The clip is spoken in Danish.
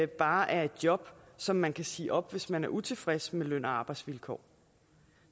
bare er et job som man kan sige op hvis man er utilfreds med løn og arbejdsvilkår